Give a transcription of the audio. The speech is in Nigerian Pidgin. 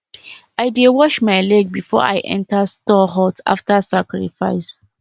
i dey wash my leg before i enter store hut after sacrifice